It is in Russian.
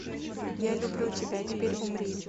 я люблю тебя теперь умри